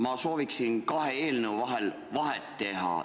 Ma sooviksin kahe eelnõu vahel vahet teha.